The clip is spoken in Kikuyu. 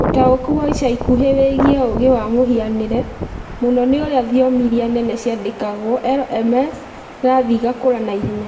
Ũtaũku wa ica ikuhĩ wĩgiĩ ũũgĩ wa mũhianĩre, mũno nĩ ũrĩa thiomi iria nene ciandĩkagwo (LLMs) irathiĩ igakũra na ihenya.